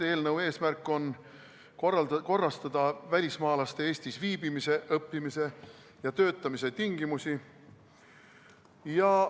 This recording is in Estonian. Eelnõu eesmärk on korrastada välismaalaste Eestis viibimise, õppimise ja töötamise tingimusi.